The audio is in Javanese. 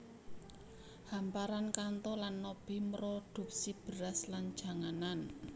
Hamparan Kanto lan Nobi mroduksi beras lan janganan